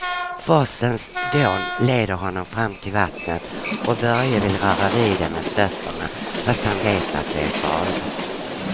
Forsens dån leder honom fram till vattnet och Börje vill röra vid det med fötterna, fast han vet att det är farligt.